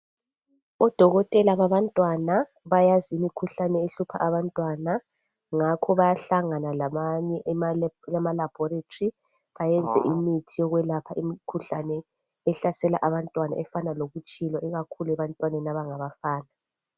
Odokotela babantwana bayayazi imkhuhlane ehlupha abantwana, ngakho bayahlangana labanye emala ema laboratory bayenze imithi yokwelapha imkhuhlane ehlasela abantwana efana lokutshilwa ikakhulu ebantwaneni abangabafana.